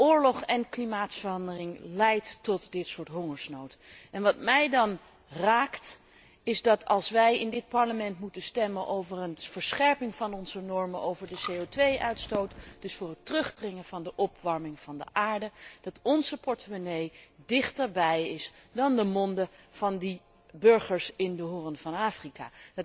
Oorlog en klimaatverandering leiden tot dit soort hongersnood. Wat mij dan raakt, is dat als wij in dit Parlement moeten stemmen over een verscherping van onze normen over de CO 2 uitstoot, dus voor het terugdringen van de opwarming van de aarde, dat onze portemonnee dichterbij is dan de monden van de burgers in de Hoorn van Afrika.